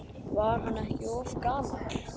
Var hann ekki of gamall?